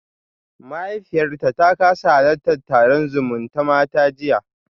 Mahaifiyarta ta kasa halartar taron zumutamata jiya